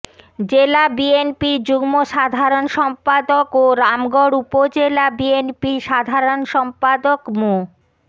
জেলা বিএনপির যুগ্ম সাধারণ সম্পাদক ও রামগড় উপজেলা বিএনপির সাধারণ সম্পাদক মো